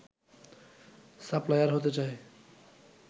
supplier হতে চায়